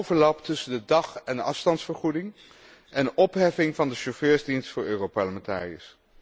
naar overlap tussen de dag en afstandsvergoeding en opheffing van de chauffeursdienst voor Europarlementariërs.